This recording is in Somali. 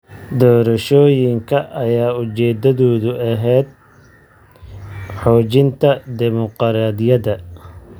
Doorashooyinka ayaa ujeedadoodu ahayd xoojinta dimuqraadiyadda.